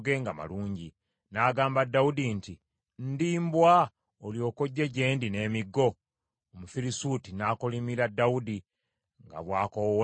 N’agamba Dawudi nti, “Ndi mbwa olyoke ojje gye ndi n’emiggo?” Omufirisuuti n’akolimira Dawudi nga bwakoowoola balubaale be.